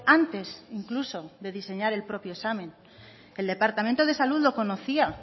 antes incluso de diseñar el propio examen el departamento de salud lo conocía